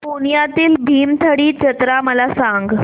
पुण्यातील भीमथडी जत्रा मला सांग